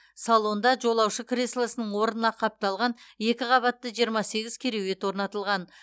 салонда жолаушы креслосының орнына қапталған екі қабатты жиырма сегіз кереует орнатылған